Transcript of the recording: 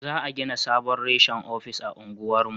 Za a gina sabon reshen ofis a unguwar mu